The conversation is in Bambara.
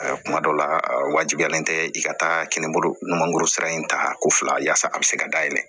Kuma dɔ la wajibiyalen tɛ i ka taa kinibolo ɲumankɔrɔ sira in ta ko fila yaasa a bɛ se ka dayɛlɛ